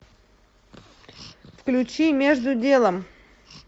включи между делом